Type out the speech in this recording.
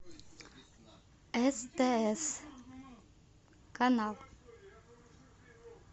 стс канал